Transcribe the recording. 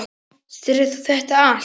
Sérð þú þetta allt?